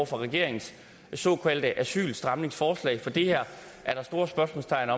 for regeringens såkaldte asylstramningsforslag for der er store spørgsmålstegn